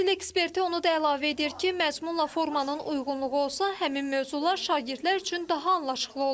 Təhsil eksperti onu da əlavə edir ki, məzmunla formanın uyğunluğu olsa, həmin mövzular şagirdlər üçün daha anlaşıqlı olar.